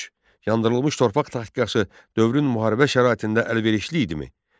Yandırılmış torpaq taktikası dövrün müharibə şəraitində əlverişli idimi?